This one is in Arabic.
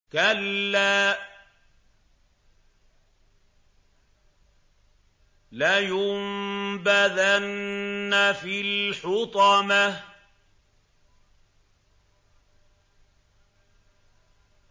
كَلَّا ۖ لَيُنبَذَنَّ فِي الْحُطَمَةِ